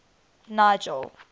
nigel